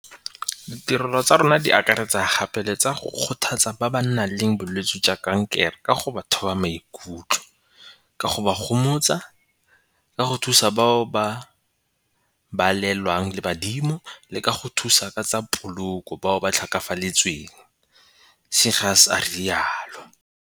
"Ditirelo tsa rona di akaretsa gape le tsa go kgothatsa ba ba nang le bolwetse jwa kankere ka go ba thoba maikutlo, ka go ba gomotsa, ka go thusa bao ba balelwang le badimo le ka go thusa ka tsa poloko bao ba tlhokafaletsweng," Seegers a rialo.